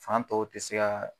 Fan tɔw te se ka